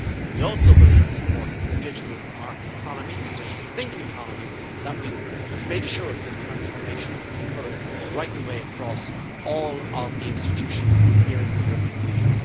We also believe it is important for the digital market economy the digital single economy that we make sure this transformation occurs right the way across all of the institutions here in the European Union.